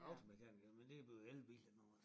Og automekaniker men det er jo blevet elbiler noget